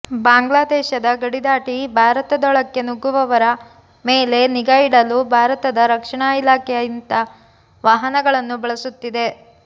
ಬಾಂಗ್ಲಾದೇಶದ ಗಡಿದಾಟಿ ಭಾರತದೊಳಕ್ಕೆ ನುಗ್ಗುವವರ ಮೇಲೆ ನಿಗಾ ಇಡಲು ಭಾರತದ ರಕ್ಷಣಾ ಇಲಾಖೆ ಇಂಥ ವಾಹನಗಳನ್ನು ಬಳಸುತ್ತಿದೆ